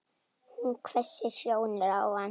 Hún hvessir sjónir á hann.